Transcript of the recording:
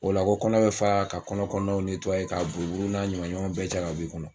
O la ko kɔnɔ bɛ fara ka kɔnɔ kɔnɔnaw ka buruburuw n'a ɲamaɲamaw bɛɛ cɛ ka bɛ i kɔnɔ